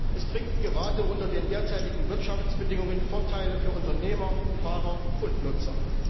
Es bringt gerade unter den derzeitigen Wirtschaftsbindungen Vorteile für Unternehmer, Fahrer und Nutzer.